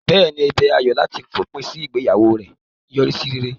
Bẹ́ẹ̀ ni, ẹ̀bẹ̀ Ayo láti fòpin sí ìgbéyàwó rẹ̀ yọrí sí rere.